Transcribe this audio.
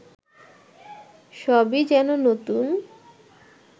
সবই যেন নতুন